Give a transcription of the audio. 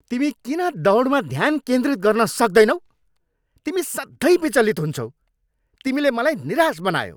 तिमी किन दौडमा ध्यान केन्द्रित गर्न सक्दैनौ? तिमी सधैँ विचलित हुन्छौ। तिमीले मलाई निराश बनायौ।